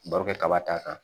Barokɛ kaba t'a kan